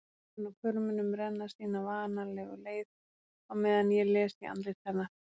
Tárin á hvörmunum renna sína vanalegu leið á meðan ég les í andlit hennar.